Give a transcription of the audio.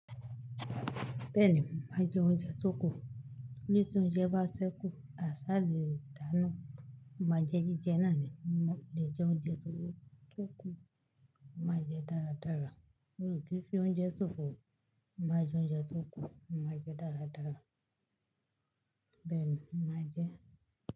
Bẹ́ẹ̀ni, má jẹ oúnjẹ tó kù. Torí tí oúnjẹ bá ṣẹ́kù, àṣà le dà nù. Má jẹ jíjẹ náà ni, lè jẹ oúnjẹ tó kù, mo ma jẹ dáradára. Mí o kìí fi oúnjẹ sọ̀fọ̀, mo má jẹ oúnjẹ tó kù, má jẹ dáradára. Bẹ́ẹ̀ni, má jẹ.